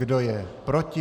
Kdo je proti?